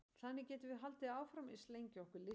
þannig getum við haldið áfram eins lengi og okkur lystir